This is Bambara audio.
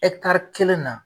E kelen na.